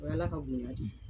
O y'ala ka bonya di.